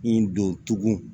I don tugun